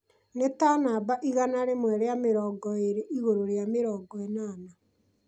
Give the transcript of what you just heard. nĩ ta namba igana rĩmwe rĩa mĩrongo ĩĩrĩ igũrũ rĩa mĩrongo ĩnana